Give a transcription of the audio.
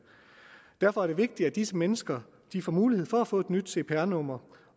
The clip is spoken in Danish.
derfor er det vigtigt at disse mennesker får mulighed for at få et nyt cpr nummer